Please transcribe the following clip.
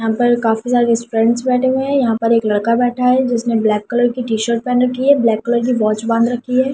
यहां पर काफी सारे फ्रेंड्स बैठे हैं यहां पर एक लड़का बैठा है जिसने ब्लैक कलर की टीशर्ट पहन रखी है ब्लैक कलर की वॉच बांध रखी है।